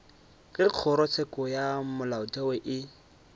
ge kgorotsheko ya molaotheo e